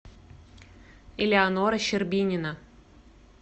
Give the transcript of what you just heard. элеонора щербинина